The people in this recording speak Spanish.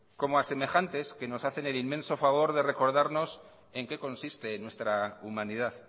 como a semejantes que nos hacen el inmenso favor de recordarnos en qué consiste nuestra humanidad